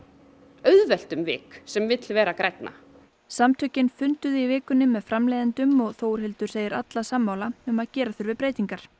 auðvelt um vik sem vill verða grænna samtökin funduðu í vikunni með framleiðendum og Þórhildur segir alla sammála um að gera þurfi breytingar